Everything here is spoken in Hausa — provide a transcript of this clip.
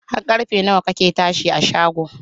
Har karfe kake tashi a shago?.